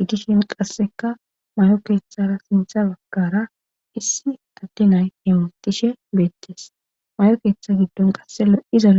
iggishin qasseka mayo keeththara sintha baggara issi taddi nay hemotishe beettes may7o keeththa giddon qasse lo7izaale